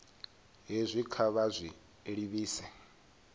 hezwi kha vha zwi livhise